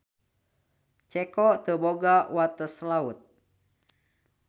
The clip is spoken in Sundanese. Ceko teu boga wates laut.